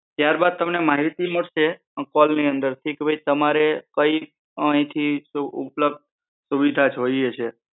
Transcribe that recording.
ત્યાર બાદ તમને માહિતી મળશે કોલ ની અંદર થી કે ભઈ તમારે કઈ અહીંથી શું ઉપલબ્ધ સુવિધા જોઈએ છીએ